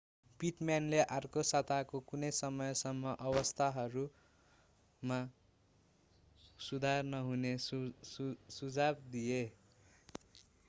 पिटम्यानले अर्को साताको कुनै समयसम्म अवस्थाहरूमा सुधार नहुने सुझाव दिए